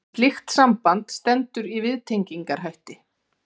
slíkt samband stendur í viðtengingarhætti